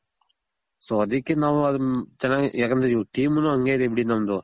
so ಅದಕ್ಕೆ ನಾವು ಅದನ್ ಚೆನಾಗ್ ಯಾಕಂದ್ರೆ ಇವಾಗ್ teamನು ಹಂಗೆ ಇದೆ ಬಿಡಿ ನಮ್ದು.